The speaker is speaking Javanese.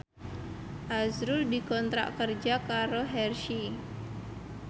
azrul dikontrak kerja karo Hershey